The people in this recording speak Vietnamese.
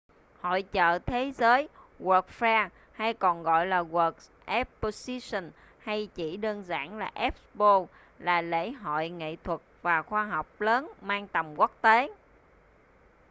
hội chợ thế giới world’s fair hay còn gọi là world exposition hay chỉ đơn giản là expo là lễ hội nghệ thuật và khoa học lớn mang tầm quốc tế